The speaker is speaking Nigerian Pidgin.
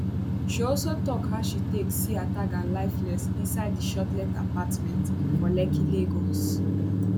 she also tok how she take see ataga lifeless inside di shortlet apartment for lekki lagos